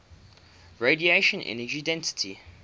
radiation energy density